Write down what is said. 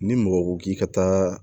Ni mɔgɔ ko k'i ka taa